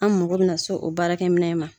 An mako bɛna se o baarakɛminɛ in ma